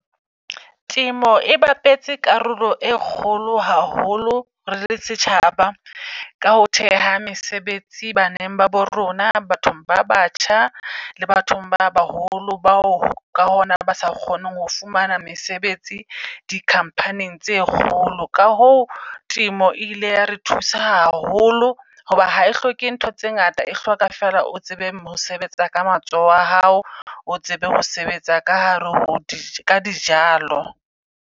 Temo e bapetse karolo e kgolo haholo re le setjhaba ka ho theha mesebetsi, baneng ba bo rona, bathong ba batjha, le bathong ba baholo. Bao ka ho na ba sa kgoneng ho fumana mesebetsi di-company-ng tse kgolo. Ka hoo temo e ile ya re thusa haholo hoba ha e hloke ntho tse ngata, e hloka feela o tsebe mosebetsa ka matsoho a hao, o tsebe ho sebetsa ka hare ho ka dijalo.